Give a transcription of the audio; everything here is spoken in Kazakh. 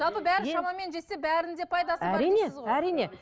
жалпы бәрін шамамен жесе бәрінің пайдасы бар дейсіз ғой әрине әрине